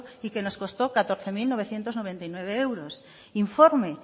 y que nos costó catorce mil novecientos noventa y nueve euros informe